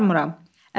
Yox, aparmıram.